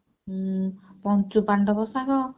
ଉଁ ପଞ୍ଚୁପାଣ୍ଡବ ଶାଗ